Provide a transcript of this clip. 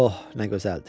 Oh, nə gözəldir.